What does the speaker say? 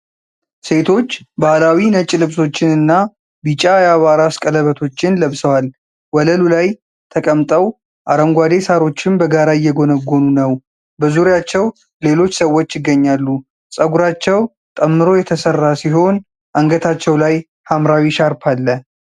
ሴቶች ባህላዊ ነጭ ልብሶችንና ቢጫ የአበባ ራስ ቀለበቶችን ለብሰዋል። ወለሉ ላይ ተቀምጠው አረንጓዴ ሣሮችን በጋራ እየጎነጎኑ ነው። በዙሪያቸው ሌሎች ሰዎች ይገኛሉ። ፀጉራቸው ጠምሮ የተሠራ ሲሆን አንገታቸው ላይ ሐምራዊ ሻርፕ አለ።